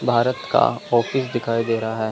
भारत का ऑफिस दिखाई दे रहा है।